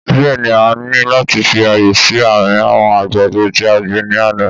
Bẹ́ẹ̀ni a ní láti fi ààyè sí àárín àwọn àgbàdo tí a gbìn ní àná